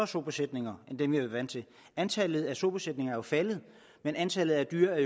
sobesætninger end dem været vant til antallet af sobesætninger er jo faldet men antallet af dyr